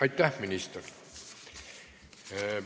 Aitäh, minister!